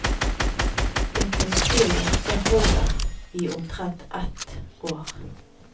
Det kunstige hjerte holder i omtrent ett år.